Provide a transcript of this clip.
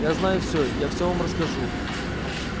я знаю все я все вам расскажу